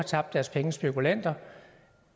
tabt deres penge spekulanterne